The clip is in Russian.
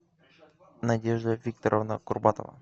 надежда викторовна курбатова